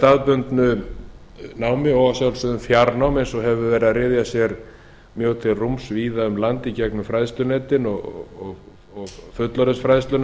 með staðbundnu námi og að sjálfsögðu fjárnámi eins og hefur verið að ryðja sér mjög til rúms víða um landið gegnum fræðslunetin og fullorðinsfræðsluna